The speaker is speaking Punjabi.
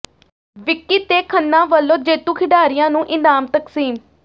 ਵਿੱਕੀ ਤੇ ਖੰਨਾ ਵਲੋਂ ਜੇਤੂ ਖਿਡਾਰੀਆਂ ਨੂੰ ਇਨਾਮ ਤਕਸੀਮ